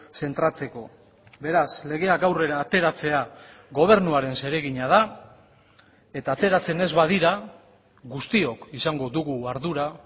zentratzeko beraz legeak aurrera ateratzea gobernuaren zeregina da eta ateratzen ez badira guztiok izango dugu ardura